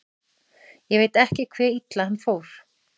Ég veit ekki hve illa hann fór.